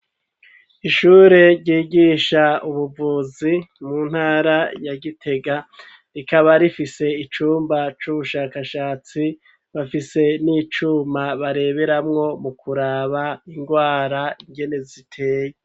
Ishure ryigisha ubuvuzi mu ntara ya gitega rikaba rifise icumba c'ubushakashatsi bafise n'icuma bareberamwo mu kuraba ingwara ingene ziteye.